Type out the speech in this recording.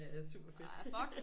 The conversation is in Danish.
Er super fedt